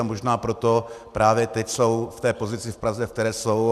A možná proto právě teď jsou v té pozici v Praze, ve které jsou.